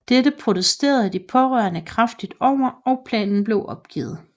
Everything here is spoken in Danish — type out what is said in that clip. Dette protesterede de pårørende kraftigt over og planen blev opgivet